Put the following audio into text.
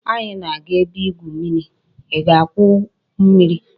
Anyi na-aga ebe igwu mmiri I ga-gwuo mmiri